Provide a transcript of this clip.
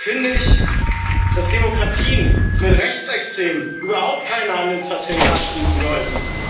Im Übrigen finde ich, dass Demokratien mit Rechtsextremen überhaupt keine Handelsverträge abschließen sollten.